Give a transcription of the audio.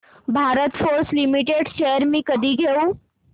Bharat Forge Limited shares मी कधी घेऊ